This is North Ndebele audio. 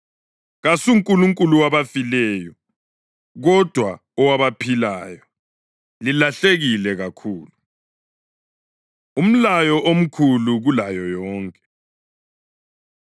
KasuNkulunkulu wabafileyo, kodwa owabaphilayo. Lilahlekile kakhulu!” Umlayo Omkhulu Kulayo Yonke